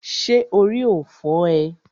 Ṣé orí ò fọ́ ee?